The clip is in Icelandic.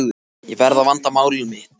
Ég verð að vanda mál mitt.